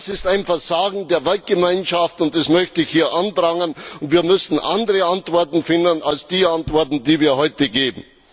Das ist ein Versagen der Weltgemeinschaft, das möchte ich hier anprangern, und wir müssen hier andere Antworten finden als die Antworten, die wir heute geben.